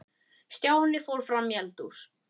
Stjáni fór fram í eldhús.